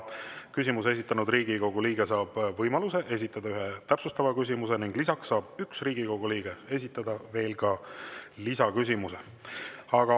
Küsimuse esitanud Riigikogu liige saab võimaluse esitada ühe täpsustava küsimuse ning lisaks saab üks Riigikogu liige esitada ka lisaküsimuse.